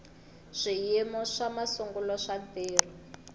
swiyimo swa masungulo swa ntirho